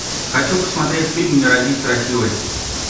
хочу посмотреть фильм не родись красивой